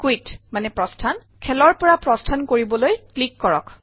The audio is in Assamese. কুইট প্ৰস্থান - খেলৰ পৰা প্ৰস্থান কৰিবলৈ ক্লিক কৰক